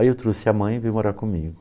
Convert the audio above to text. Aí eu trouxe a mãe e veio morar comigo.